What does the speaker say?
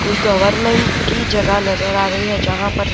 कोई गवर्नमेंट की जगह नजर आ रही है जहां पर --